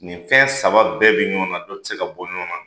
Nin fɛn saba bɛɛ bɛ ɲɔgɔn na, dɔ te se ka bɔ ɲɔgɔn na.